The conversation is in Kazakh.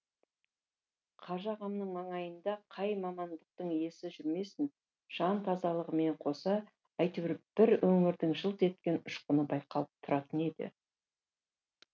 қажыағамның маңайында қай мамандықтың иесі жүрмесін жан тазалығымен қоса әйтеуір бір өнердің жылт еткен ұшқыны байқалып тұратын еді